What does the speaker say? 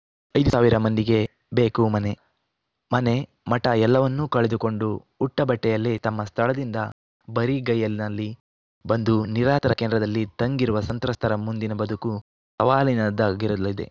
ಐದು ಸಾವಿರ ಮಂದಿಗೆ ಬೇಕು ಮನೆ ಮನೆ ಮಠ ಎಲ್ಲವನ್ನೂ ಕಳೆದುಕೊಂಡು ಉಟ್ಟಬಟ್ಟೆಯಲ್ಲೇ ತಮ್ಮ ಸ್ಥಳದಿಂದ ಬರಿಗೈನಲ್ಲಿ ಬಂದು ನಿರಾತರ ಕೇಂದ್ರದಲ್ಲಿ ತಂಗಿರುವ ಸಂತ್ರಸ್ತರ ಮುಂದಿನ ಬದುಕು ಸವಾಲಿನದ್ದಾಗಿರಲಿದೆ